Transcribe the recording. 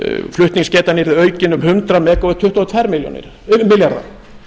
flutningsgetan yrði aukin um hundrað megavött tuttugu og tvo milljarða